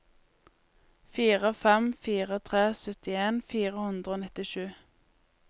fire fem fire tre syttien fire hundre og nittisju